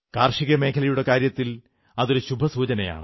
കാർഷികമേഖലയുടെ കാര്യത്തിൽ അതൊരു ശുഭസൂചനയാണ്